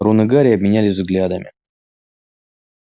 рон и гарри обменялись взглядами